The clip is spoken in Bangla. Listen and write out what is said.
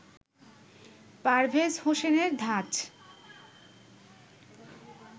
পারভেজ হোসেনের ধাঁচ